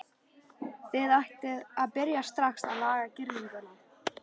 Þið ættuð að byrja strax að laga girðinguna.